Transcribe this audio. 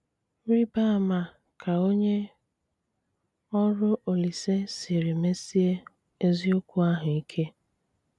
Rị̀bá àmá kà ònye ọrụ Olíse siri mesie ezíokwù áhụ ike.